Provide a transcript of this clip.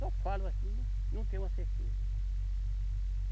Só falo assim, mas não tenho uma certeza.